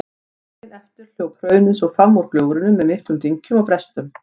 Daginn eftir hljóp hraunið svo fram úr gljúfrinu með miklum dynkjum og brestum.